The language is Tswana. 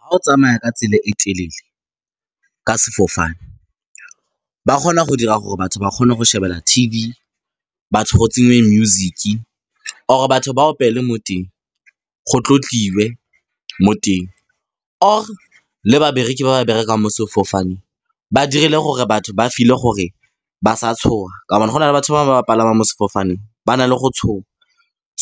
Ga o tsamaya ka tsela e telele ka sefofane ba kgona go dira gore batho ba kgone go shebelela T_V, batho go tsenngwe music, or batho ba opele mo teng, go tlotliwa mo teng or le babereki ba ba berekang mo sefofaneng ba dirile gore batho ba feel-e gore ba sa tshoga. Ka hobane go na le batho ba palama mo sefofaneng ba na le go tshoga.